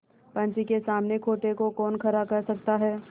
पंच के सामने खोटे को कौन खरा कह सकता है